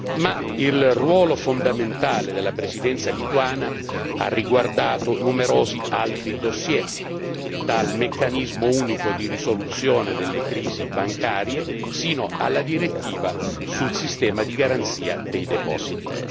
Ma il ruolo fondamentale della Presidenza lituana ha riguardato numerosi altri dossier, dal meccanismo unico di risoluzione delle crisi bancarie sino alla direttiva sul sistema di garanzia dei depositi.